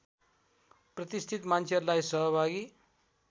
प्रतिष्ठित मान्छेहरूलाई सहभागी